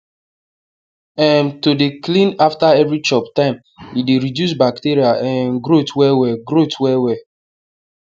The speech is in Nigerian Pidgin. um to dey clean after every chop time e dey reduce bacteria um growth well well growth well well